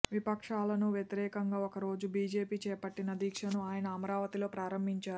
విపక్షాలకు వ్యతిరేకంగా ఒకరోజు బీజేపీ చేపట్టిన దీక్షను ఆయన అమరావతిలో ప్రారంభించారు